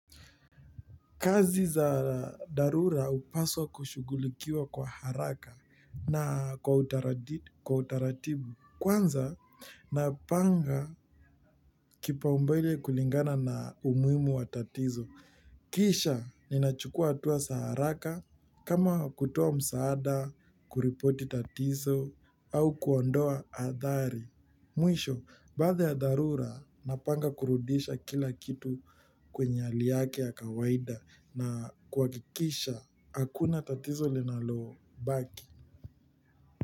Kazi za darura upaswa kushugulikiwa kwa haraka na kwa utaratibu. Kwanza, napanga kipaumbele kulingana na umuimu wa tatizo. Kisha, ninachukua atua sa haraka, kama kutoa msaada, kuripoti tatizo, au kuondoa adhari. Mwisho, baatha ya dharura napanga kurudisha kila kitu kwenye hali yake ya kawaida na kuwakikisha akuna tatizo linalo baki.